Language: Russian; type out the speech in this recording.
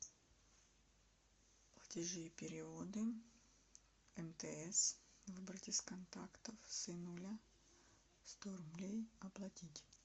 платежи и переводы мтс выбрать из контактов сынуля сто рублей оплатить